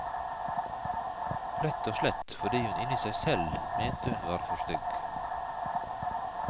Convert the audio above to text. Rett og slett fordi hun inni seg selv mente hun var for stygg.